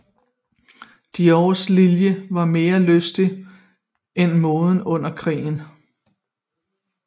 Diors linje var mere lystig end moden under krigen